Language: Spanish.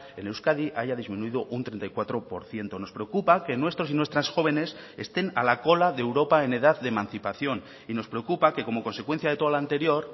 en euskadi haya disminuido un treinta y cuatro por ciento nos preocupa que nuestros y nuestras jóvenes estén a la cola de europa en edad de emancipación y nos preocupa que como consecuencia de todo lo anterior